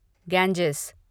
Ganges